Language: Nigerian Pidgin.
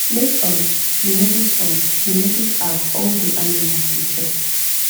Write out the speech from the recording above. make um u notice um u notice as all the animals da chop